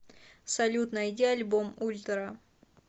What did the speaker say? салют найди альбом ультра